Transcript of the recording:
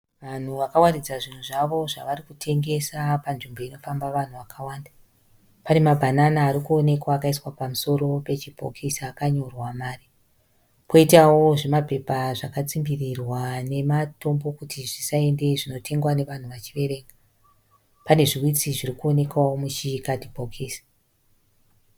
Vanhu vakawaridza zvinhu zvavo kutengesa panzvimbo inofamba vanhu vakawanda. Pane mabhanana ari kuonekwa akaiswa pamusoro pechibhokisi akanyorwa mari, kwoitawo zvimapepa zvakatsimbirirwa nematombo kuti zvisaende zvinotengwa navanhu vachiverenga. Pane zviwitsi zviri kuonekwawo muchikadhibhokisi.